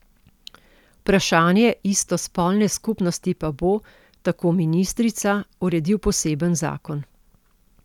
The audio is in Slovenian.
Vprašanje istospolne skupnosti pa bo, tako ministrica, uredil poseben zakon.